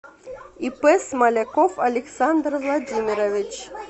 ип смоляков александр владимирович